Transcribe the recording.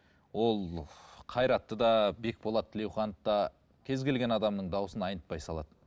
ол ыыы қайратты да бекболат тілеуханды да кез келген адамның дауысын айнытпай салады